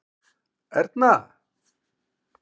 Erna